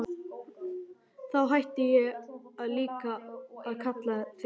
Þá hætti ég líka að kalla þig Lilla.